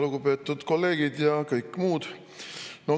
Lugupeetud kolleegid ja kõik muud!